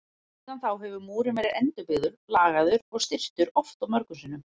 Síðan þá hefur múrinn verið endurbyggður, lagaður og styrktur oft og mörgum sinnum.